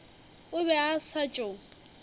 o be a sa tšo